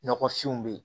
Nɔgɔfinw bɛ yen